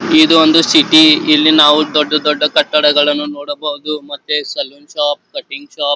ಇದೊಂದು ಸಿಟಿ ಇಲ್ಲಿ ನಾವು ದೊಡ್ಡ ದೊಡ್ಡ ಕಟ್ಟಡಗಳನ್ನು ನೋಡಬಹುದು ಮತ್ತೆ ಸಲೂನ್ ಶಾಪ್ ಕಟಿಂಗ್ ಶಾಪ್ .